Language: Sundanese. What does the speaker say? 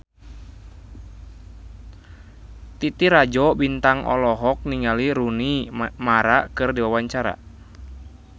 Titi Rajo Bintang olohok ningali Rooney Mara keur diwawancara